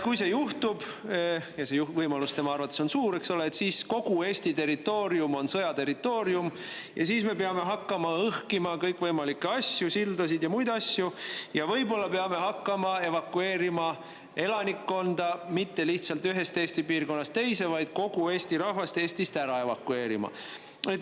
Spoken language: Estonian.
Kui see juhtub – ja see võimalus tema arvates on suur –, siis on kogu Eesti territoorium sõja territoorium ja siis me peame hakkama õhkima kõikvõimalikke asju, sildasid ja muid asju, ning võib-olla peame hakkama evakueerima elanikkonda mitte lihtsalt ühest Eesti piirkonnast teise, vaid kogu Eesti rahvast Eestist ära evakueerima.